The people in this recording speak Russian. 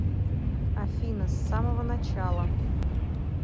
афина с самого начала